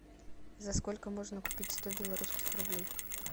за сколько можно купить сто белорусских рублей